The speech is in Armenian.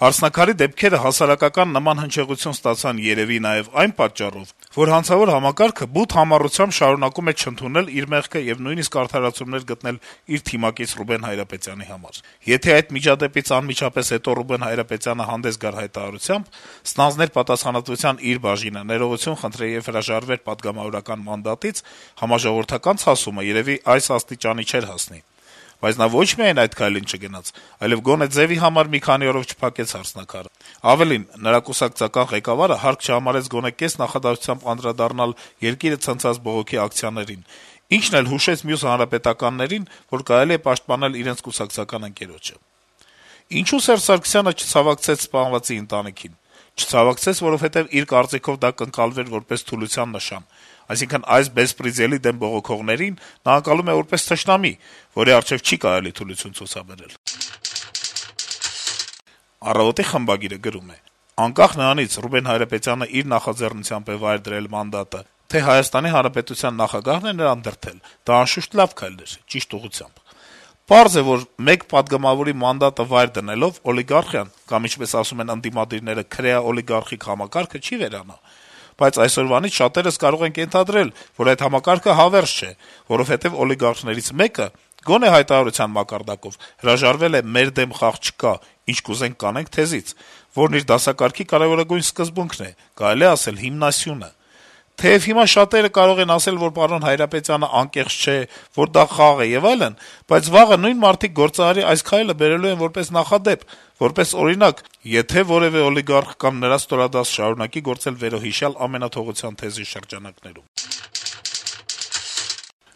««Հարսնաքար»-ի դեպքերը նման հասարակական հնչեղություն ստացան երեւի նաեւ այն պատճառով, որ հանցավոր համակարգը բութ համառությամբ շարունակում է չընդունել իր մեղքը եւ նույնիսկ արդարացումներ գտնել իր թիմակից Ռուբեն Հայրապետյանի համար: Եթե այդ միջադեպից անմիջապես հետո Ռուբեն Հայրապետյանը հանդես գար հայտարարությամբ, ստանձներ պատասխանատվության իր բաժինը, ներողություն խնդրեր եւ հրաժարվեր պատգամավորական մանդատից, համաժողովրդական ցասումը երեւի այս աստիճանի չէր հասնի: Բայց նա ոչ միայն այդ քայլին չգնաց, այլեւ գոնե ձեւի համար մի քանի օրով չփակեց «Հարսնաքար»-ը: Ավելին` նրա կուսակցական ղեկավարը հարկ չհամարեց գոնե կես նախադասությամբ անդրադառնալ երկիրը ցնցած բողոքի ակցիաներին, ինչն էլ հուշեց մյուս հանրապետականներին, որ կարելի է պաշտպանել իրենց կուսակցական ընկերոջը: Իսկ ինչո՞ւ Սերժ Սարգսյանը չցավակցեց սպանվածի ընտանիքին… Չցավակցեց, որովհետեւ, իր կարծիքով, դա կընկալվեր որպես թուլության նշան: Այսինքն` այս բեսպրեդելի դեմ բողոքողներին նա ընկալում է որպես թշնամի, որի առջեւ չի կարելի թուլություն ցուցաբերել»: Առավոտ»-ի խմբագիրը գրում է. - «Անկախ նրանից` Ռուբեն Հայրապետյանն իր նախաձեռնությամբ է վայր դրել մանդատը, թե ՀՀ նախագահն է նրան դրդել, դա, անշուշտ, քայլ էր ճիշտ ուղղությամբ։ Պարզ է, որ մեկ պատգամավորի մանդատը վայր դնելով` օլիգարխիան կամ, ինչպես ասում են ընդդիմադիրները` քրեա-օլիգարխիկ համակարգը չի վերանա։ Բայց այսօրվանից շատերս կարող ենք ենթադրել, որ այդ համակարգը հավերժ չէ, որովհետեւ օլիգարխներից մեկը, գոնե հայտարարության մակարդակով, հրաժարվել է «մեր դեմ խաղ չկա, ինչ ուզենք` կանենք» թեզից, որն իր դասակարգի կարեւորագույն սկզբունքն է, կարելի է ասել` հիմնասյունը։ Թեեւ հիմա շատերը երեւի կասեն, որ պարոն Հայրապետյանը անկեղծ չէ, որ դա խաղ է եւ այլն, բայց վաղը նույն մարդիկ գործարարի այս քայլը բերելու են որպես նախադեպ, որպես օրինակ, եթե որեւէ օլիգարխ կամ նրա ստորադաս շարունակի գործել վերոհիշյալ ամենաթողության թեզի շրջանակներում»։